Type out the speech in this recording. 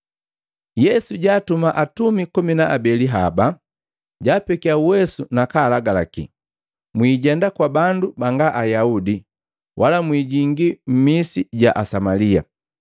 Yesu jaatumaa atumi komi na abeli haba, jaapekia uwesu nakaalagalaki, “Mwijenda kwa bandu banga Ayaudi, wala mwijingi mmisi ya Asamalia.